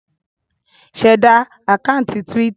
Ṣẹ̀da àkáńtì Twitter!